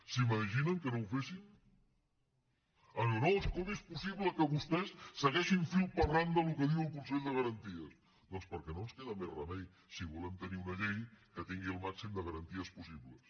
s’imaginen que no ho féssim ens diu no com és possible que vostès segueixin fil per randa el que diu el consell de garanties doncs perquè no ens queda més remei si volem tenir una llei que tingui el màxim de garanties possible